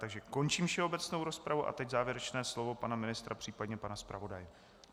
Takže končím všeobecnou rozpravu a teď závěrečné slovo pana ministra, případně pana zpravodaje.